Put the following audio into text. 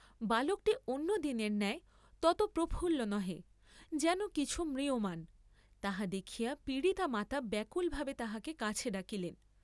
বালকটি অন্য দিনের ন্যায় তত প্রফুল্ল নহে, যেন কিছু ম্রিয়মাণ, তাহা দেখিয়া পীড়িতা মাতা ব্যাকুল ভাবে তাহাকে কাছে ডাকিলেন।